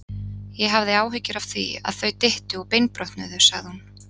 Ég hafði áhyggjur af því, að þau dyttu og beinbrotnuðu sagði hún.